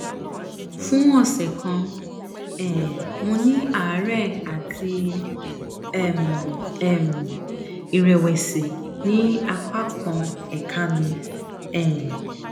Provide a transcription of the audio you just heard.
fún ọsẹ kan um mo ní àárẹ àti um ìrẹwẹsì ní apá kan ẹka mi um